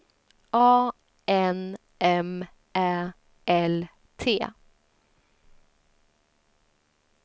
A N M Ä L T